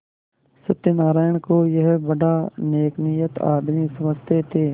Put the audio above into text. सत्यनाराण को यह बड़ा नेकनीयत आदमी समझते थे